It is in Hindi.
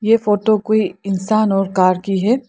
ये फोटो कोई इंसान और कार की है।